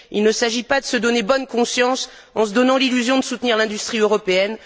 Il ne s'agit pas de se donner bonne conscience en se donnant l'illusion de soutenir l'industrie européenne.